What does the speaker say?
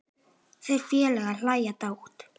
Þeir félagar hlæja dátt.